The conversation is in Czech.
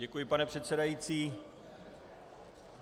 Děkuji, pane předsedající.